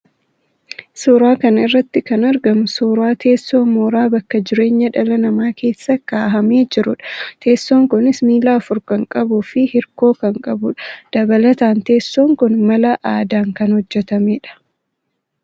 Suuraa kana irratti kan argamu suuraa teessoo mooraa bakka jireenyaa dhala namaa keessa kaahamee jirudha. Teessoon kunis miila afur kan qabuu fi hirkoo kan qabudha. Dabalataan teessoon kun mala aadaan kan hojjetamedha.